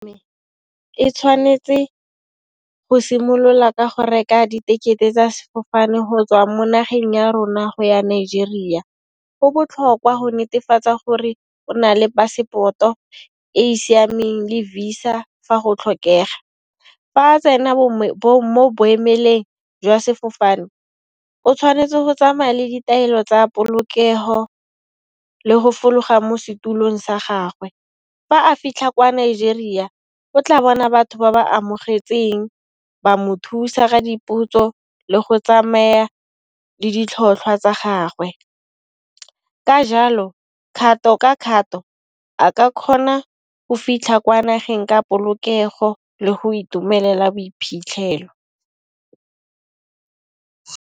E tshwanetse go simolola ka go reka di tekete tsa sefofane go tswa mo nageng ya rona go ya Nigeria, go botlhokwa go netefatsa gore o na le pasepoto e e siameng le visa fa go tlhokega. Fa tsena mo boemelong jwa sefofane o tshwanetse go tsamaya le ditaelo tsa polokego le go fologa mo setulong sa gagwe. Fa a fitlha kwa Nigeria o tla bona batho ba ba amogetseng ba mo thusa ka dipotso le go tsamaya le ditlhotlhwa tsa gagwe. Ka jalo kgato ka kgato a ka kgona go fitlha kwa nageng ka polokego le go itumelela boiphitlhelo.